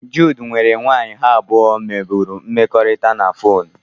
Jude nwere nwanyị ha abụọ nwebụrụ mmekọrịta na fonu